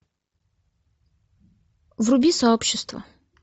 вруби сообщество